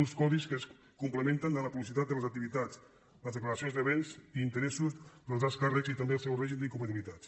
uns codis que es complementen de la publicitat de les activitats les declaracions de béns i interessos dels alts càrrecs i també el seu règim d’incompatibilitats